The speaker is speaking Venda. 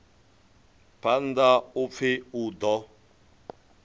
phanḓa u pfi u ḓo